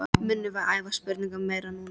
Munum við æfa spyrnurnar meira núna?